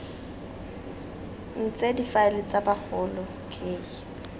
ntse difaele tsa bagolo k